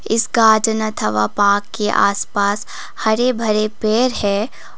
इस पार्क के आसपास हरे भरे पेड़ हैं।